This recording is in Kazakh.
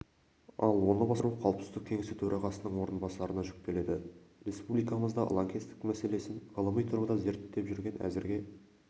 ал оны басқару қауіпсіздік кеңесі төрағасының орынбасарына жүктеледі республикамызда лаңкестік мәселесін ғылыми тұрғыда зерттеп жүрген әзірге